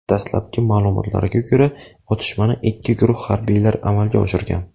Dastlabki ma’lumotlarga ko‘ra, otishmani ikki guruh harbiylar amalga oshirgan.